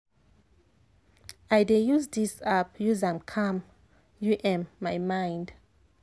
i dey use dis app use am calm u m my mind.